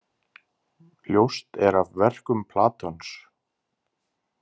Ljóst er af verkum Platons.